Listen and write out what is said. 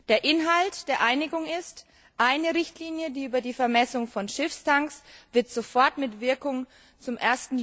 Der Inhalt der Einigung ist Eine Richtlinie die über die Vermessung von Schiffstanks wird sofort, mit Wirkung zum